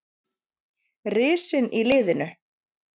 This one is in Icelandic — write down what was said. Risinn í liðinu.